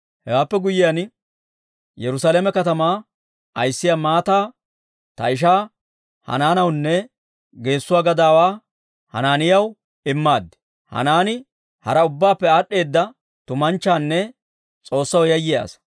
Hewaappe guyyiyaan, Yerusaalame katamaa ayissiyaa maataa ta ishaa Hanaanawunne geessuwaa gadaawaa Hanaaniyaw immaad. Hanaanii hara ubbaappe aad'd'eeda tumanchchanne S'oossaw yayyiyaa asaa.